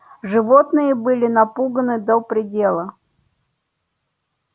животные были напуганы до предела